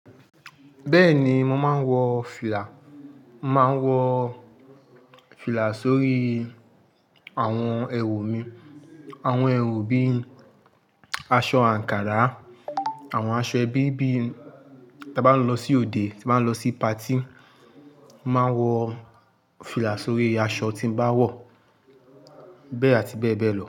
Bẹ́ẹ̀ni, màá wọ fìlà. Màá wọ fìlà sórí àwọn ẹwù mi. Àwọn ẹwù bíi aṣọ àǹkárá, àwọn aṣọ ẹbí bíi tí a bá ń lọ sí òde, tí n bá ń lọ sí patí, màá wọ fìlà sórí aṣọ tí n bàá wọ, bẹ́ẹ̀ àti bẹ́ẹ̀ bẹ́ẹ̀ lọ.